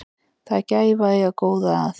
Það er gæfa að eiga góða að.